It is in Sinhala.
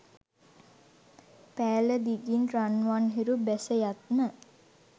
පෑල දිගින් රන්වන් හිරු බැසයත්ම